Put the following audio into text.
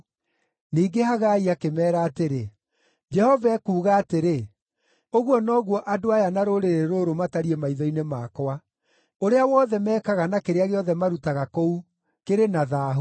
Ningĩ Hagai akĩmeera atĩrĩ, “Jehova ekuuga atĩrĩ, ‘Ũguo noguo andũ aya na rũrĩrĩ rũrũ matariĩ maitho-inĩ makwa; ũrĩa wothe meekaga na kĩrĩa gĩothe marutaga kũu, kĩrĩ na thaahu.